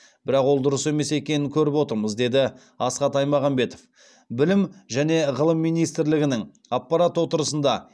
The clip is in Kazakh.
бірақ ол дұрыс емес екенін көріп отырмыз деді асхат аймағамбетов білім және ғылым министрлігінің аппарат отырысында